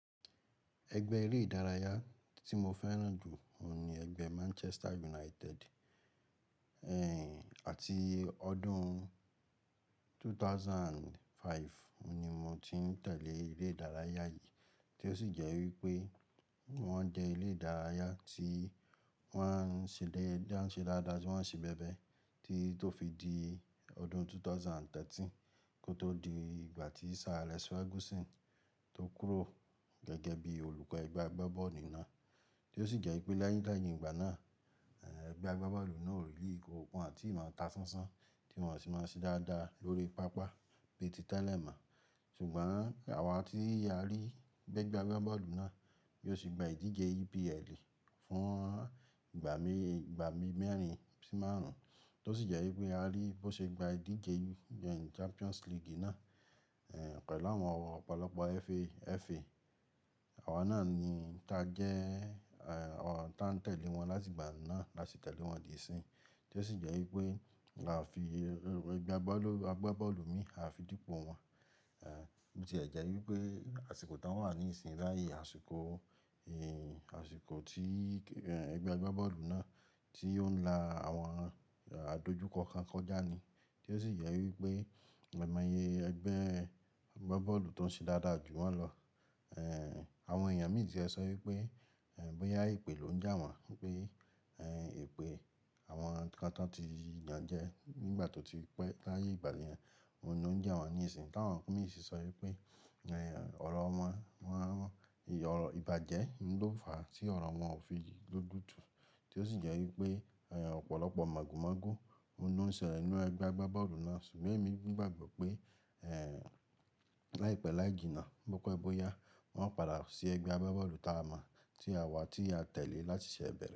Ẹgbẹ́ eré ìdárayá tí mo fẹ́ràn jù ni ẹgbẹ́ Manchester United. Àti ọdún 2005 ni mo ti ń tẹ̀lé eré ìdárayá yìí tí ó sì jẹ́ wípé wọ́n jẹ́ ilé ìdárayá tí wọ́n ń ṣe dáadáa sí wọ́n ń ṣe bẹ́bẹ́ tí tó fi di ọdún 2013 kó tó di ìgbà tí Sir Alex Ferguson tó kúrò gẹ́gẹ́ bí olùkọ́ ẹgbẹ́ agbábọ́ọ̀lù náà, tí ó sì jẹ́ wípé látẹyìn gbà náà, ẹgbẹ́ agbábọ́ọ̀lù náà ò ríli wọn tì máa ta sánsán tí wọ́n sì máa ń ṣe dáadáa lórí pápá bí i tí tẹ́lẹ̀ mọ́. Ṣùgbọ́n àwa ti a rí bi ẹgbẹ́ agbábọ́ọ̀lù náà bí ó ṣe gba ìdíje EPL fún ìgbà mẹ́rin sí márùn-ún tí ó sì jẹ́ wípé a rí bí ó ṣe gba ìdíje Champions League náà pẹ̀lú àwọn ọ̀pọ̀lọpọ̀ FA. Àwa náà ni ta jẹ́ ọ̀ tá ń tẹ̀lé wọn láti ìgbà náà láti tẹ̀lé wọn di ìsìn, tí ó sì jẹ́ wípé là á fi ẹgbẹ́ agbábọ́ọ̀lù mi, à á fi dípò wọn. Bo tí ẹ jẹ́ wípé àsìkò tí wọ́n wà ní ìsìn bàyi àsìkò, àsìkò tí ẹgbẹ́ agbábọ́ọ̀lù náà tí ó ń la àwọn àdojúkọ kan kọjá ni. Tí ó sì jẹ́ wípé amọ̀ ye ẹgbẹ́ agbábọ́ọ̀lù tó ń ṣe dáadáa jù wọ́n lọ. Àwọn èèyàn mi tìẹ sọ wípé bóyá èpè ló ń jẹ àwọn pé èpè àwọn nǹkan tí wọ́n ti yàn jẹ nígbà tó ti pẹ́ láàyè ìgbà yẹn ló ń ja wọ́n ní ìsìn. Tàwọn imì sì sọ wípé ọ̀rọ̀ wọn, ìbàjẹ́ ló fà á tí ọ̀rọ̀ wọn ò fi lójutu. Tí ó sì jẹ́ wípé ọ̀pọ̀lọpọ̀ màgo màgo òun ló ń ṣẹlẹ̀ nínú ẹgbẹ́ agbábọ́ọ̀lù náà. Ṣùgbọ́n èmi gbàgbọ́ pé láìpẹ́ láìjí náà bọ́pẹ́ bóyá wọ́n ó padà sí ẹgbẹ́ agbábọ́ọ̀lù tá a mọ̀ tí àwa tí a tẹ̀lé láti ìṣẹ̀ bẹ́rẹ̀.